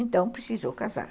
Então, precisou casar.